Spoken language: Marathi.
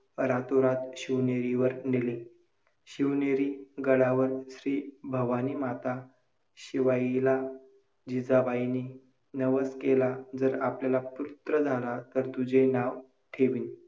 भुजल उपसा आपल्या देशातील शेतकरी हा पिकांना पानी देण्यासाठी परंपरागत पंधदने विहिरीमधून पाण्याचा उपसा काढून